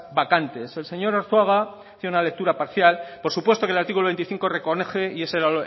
vacantes el señor arzuaga hacía una lectura parcial por supuesto que el artículo veinticinco reconoce y ese era